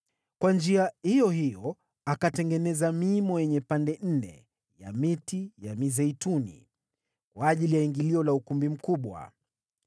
Kwa njia iyo hiyo akatengeneza miimo yenye pande nne ya miti ya mizeituni, kwa ajili ya ingilio la ukumbi mkubwa.